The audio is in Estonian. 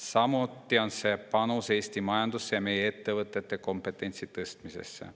Samuti on see panus Eesti majandusse ja meie ettevõtete kompetentsi tõstmisesse.